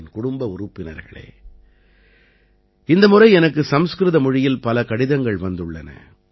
என் குடும்ப உறுப்பினர்களே இந்த முறை எனக்கு சம்ஸ்கிருத மொழியில் பல கடிதங்கள் வந்துள்ளன